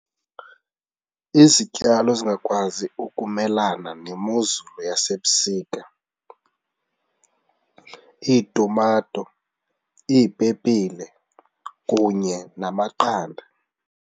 Izityalo ezingakwazi ukumelana nemozulu yasebusika, iitumato, iipepile kunye namaqanda.